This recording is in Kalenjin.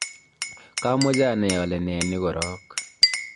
kamoche anai ale nee ni korok